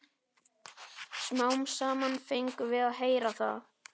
Smám saman fengum við að heyra það.